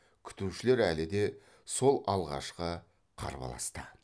күтушілер әлі де сол алғашқы қарбаласта